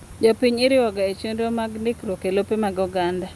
Jopiny iriwoga echenro mag ndikruok elope mag oganda.